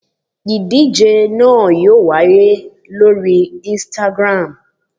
Ìdíje náà yóò wáyé lórí Instagram